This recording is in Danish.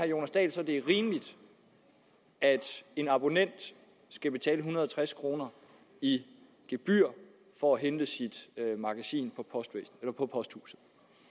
jonas dahl så at det er rimeligt at en abonnent skal betale en hundrede og tres kroner i gebyr for at hente sit magasin på posthuset